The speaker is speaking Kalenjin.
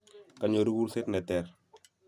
kanyoru kurset ne ter